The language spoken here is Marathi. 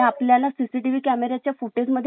फुटेज मध्ये लगेच दिसून येत .